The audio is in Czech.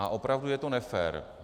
A opravdu je to nefér.